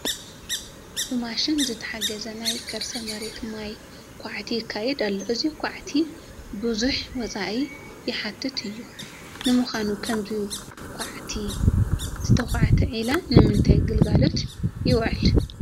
ብማሽን ዝተሓገዘ ናይ ከርሰ መሬት ማይ ዃዕቲ ይካየድ ኣሎ፡፡ እዚ ዃዕቲ ብዙሕ ወፃኢ ዝሓትት እዩ፡፡ ንምዃኑ ብኸምዚ ዝተዃዕተ ዒላ ንምንታይ ግልጋሎት ይውዕል?